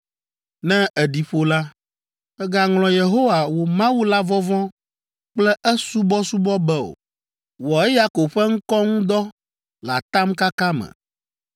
Ne èɖi ƒo la, mègaŋlɔ Yehowa, wò Mawu la vɔvɔ̃ kple esubɔsubɔ be o. Wɔ eya ko ƒe ŋkɔ ŋu dɔ le atamkaka me.